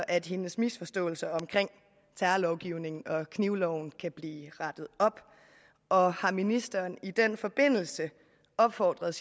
at hendes misforståelser omkring terrorlovgivningen og knivloven kan blive rettet op og har ministeren i den forbindelse opfordret